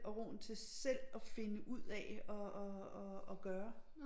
Og roen til selv at finde ud af at at at at gøre